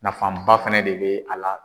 Nafanba fana de be a la